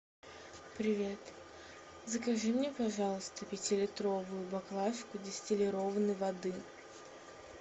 привет закажи мне пожалуйста пятилитровую баклажку дистиллированной воды